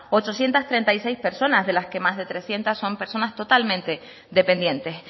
ochocientos treinta y seis personas de las que más de trescientos son personas totalmente dependientes